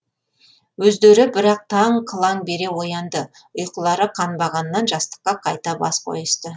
өздері бірақ таң қылаң бере оянды ұйқылары қанбағаннан жастыққа қайта бас қойысты